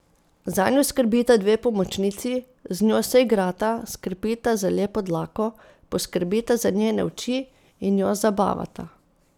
Zanjo skrbita dve pomočnici, z njo se igrata, skrbita za lepo dlako, poskrbita za njene oči in jo zabavata.